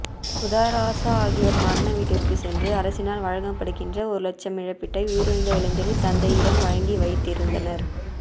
உதராசா ஆகியோர் மரண வீட்டிற்கு சென்று அரசினால் வழங்கப்படுகின்ற ஒரு இலட்சம் இழப்பீட்டை உயிரிழந்த இளைஞனின் தந்தையிடம் வழங்கி வைத்திருந்தனர்